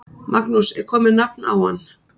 Magnús: Er komið nafn á hann?